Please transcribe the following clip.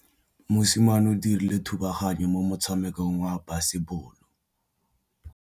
Mosimane o dirile thubaganyô mo motshamekong wa basebôlô.